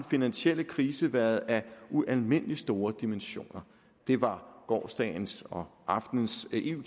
finansielle krise været af ualmindelig store dimensioner det var gårsdagens og aftenens eu